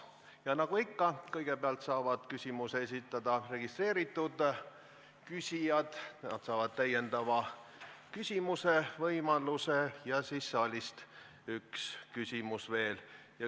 Ja nagu ikka, kõigepealt saavad küsimuse esitada registreeritud küsijad, nemad saavad täiendava küsimuse võimaluse ja saalist võib tulla üks küsimus veel.